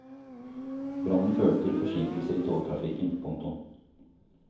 Brannen førte til forsinkelser i togtrafikken. punktum